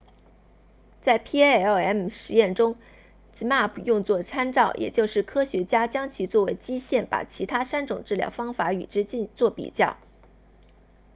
在 palm 实验中 zmapp 用作参照也就是科学家将其作为基线把其他三种治疗方法与之作比较